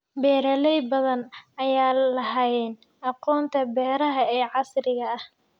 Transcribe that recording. Beeralay badan ayaan lahayn aqoonta beeraha ee casriga ah.